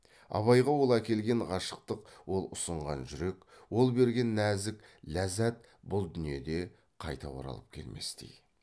абайға ол әкелген ғашықтық ол ұсынған жүрек ол берген нәзік ләззат бұл дүниеде қайта оралып келместей